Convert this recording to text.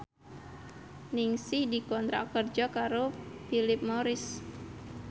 Ningsih dikontrak kerja karo Philip Morris